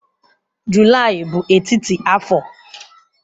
Julaị bụ etiti afọ.